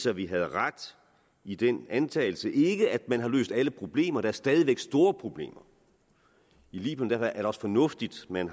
at vi havde ret i den antagelse ikke at man har løst alle problemer for der er stadig væk store problemer i libyen er det også fornuftigt at man